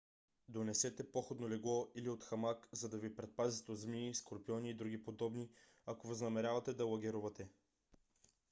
донесете походно легло или хамак за да ви предпазят от змии скорпиони и други подобни ако възнамерявате да лагерувате